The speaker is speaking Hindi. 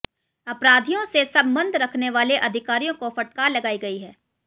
अपराधियों से संबंध रखने वाले अधिकारियों को फटकार लगाई गई है